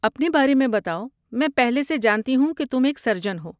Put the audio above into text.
اپنے بارے میں بتاؤ، میں پہلے سے جانتی ہوں کہ تم ایک سرجن ہو۔